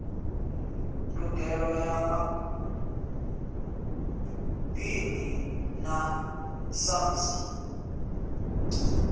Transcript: ndugelo ya maḓini na samsa